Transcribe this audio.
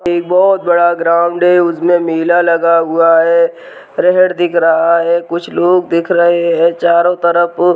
एक बहोत बड़ा ग्राउंड है उस में मेला लगा हुआ है दिख रहा है कुछ लोग दिख रहे हैं चारों तरफ --